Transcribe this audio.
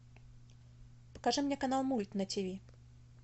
покажи мне канал мульт на тв